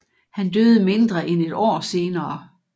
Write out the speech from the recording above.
Han døde mindre end et år senere